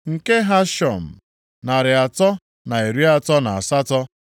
nke Hashum, narị atọ na iri atọ na asatọ (328),